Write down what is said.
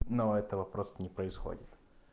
но этого просто не происходит